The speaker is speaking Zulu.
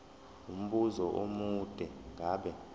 umbuzo omude ngabe